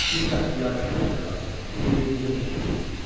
Biz qaçıb yarışırıq, cənab, bir-birimizi ötüb keçirik.